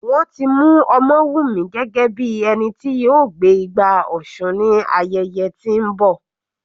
Wọ́n ti mú Omowumi gẹ́gẹ́ bí ẹni tí yóò gbé igbá òsun ní ayẹyẹ tí ń bọ.